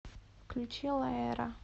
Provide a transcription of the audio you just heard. включи лаэра